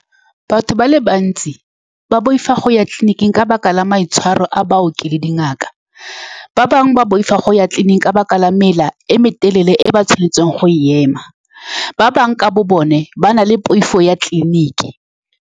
Batho ba le bantsi ba boifa go ya tleliniking ka lebaka la maitshwaro a baoki le dingaka. Ba bangwe ba boifa go ya tleliniking ka lebaka la mela e meleele e ba tshwanetseng go e ema. Ba bangwe ka bobone ba na le poifo ya tleliniking.